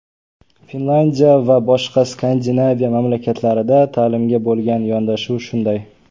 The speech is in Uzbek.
Finlyandiya va boshqa Skandinaviya mamlakatlarida ta’limga bo‘lgan yondashuv shunday.